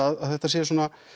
að þetta sé